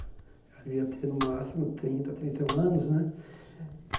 Ela devia ter no máximo trinta, trinta e um anos, né?